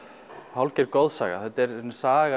hálfgerð goðsaga þetta er í rauninni saga